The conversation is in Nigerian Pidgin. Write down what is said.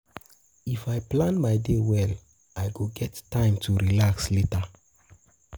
If I plan my day well, I go get time to relax later.